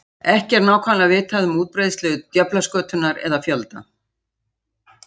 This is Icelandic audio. Ekki er nákvæmlega vitað um útbreiðslu djöflaskötunnar eða fjölda.